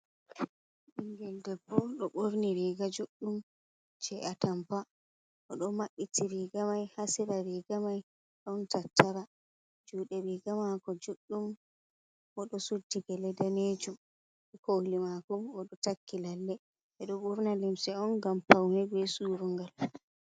Ɓingel debbo "ɗo ɓorni riga juɗɗum je atampa. Oɗo maɓɓiti riga may, hasera riga may ɗon tattara. Juɗe riga mako juɗɗum, oɗo suddi gele danejum. Koli mako oɗo takki lalle. Ɓeɗo ɓorna limse on ngam paune, be surungal.